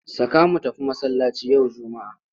Saka mu tafi masallaci yau Juma'a!